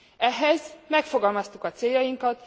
Ehhez megfogalmaztuk a céljainkat.